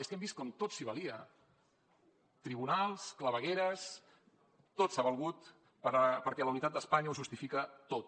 és que hem vist com tot s’hi valia tribunals clavegueres tot s’hi ha valgut perquè la unitat d’espanya ho justifica tot